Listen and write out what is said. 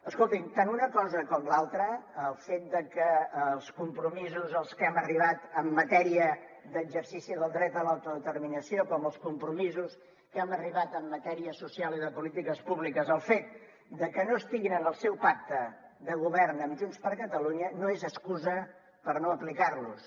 escolti’m tant una cosa com l’altra el fet que tant els compromisos als que hem arribat en matèria d’exercici del dret a l’autodeterminació com els compromisos a què hem arribat en matèria social i de polítiques públiques el fet de que no estiguin en el seu pacte de govern amb junts per catalunya no és excusa per no aplicar los